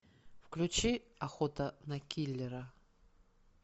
включи охота на киллера